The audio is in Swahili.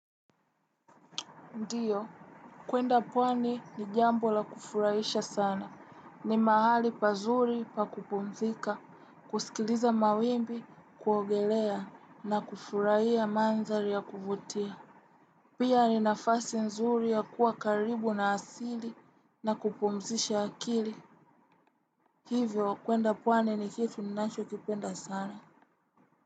Ndiyo, kwenda pwani ni jambo la kufurahisha sana. Ni mahali pazuri pa kupumzika kusikiliza mawimbi kuogelea na kufurahia maandhari ya kuvutia. Pia ni nafasi nzuri ya kuwa karibu na asili na kupumzisha akili. Hivyo, kwenda pwani ni kitu ninacho kipenda sana.